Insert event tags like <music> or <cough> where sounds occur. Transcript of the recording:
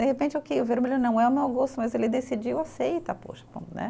De repente, ok, o vermelho não é o meu gosto, mas ele decidiu, aceita, poxa <unintelligible> né